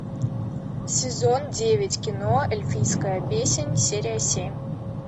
сезон девять кино эльфийская песнь серия семь